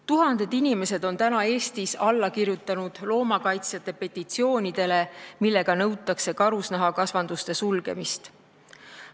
Tuhanded inimesed on Eestis alla kirjutanud loomakaitsjate petitsioonidele, millega nõutakse karusloomakasvanduste sulgemist.